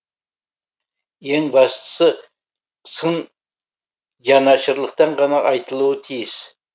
ең бастысы сын жанашырлықтан ғана айтылуы тиіс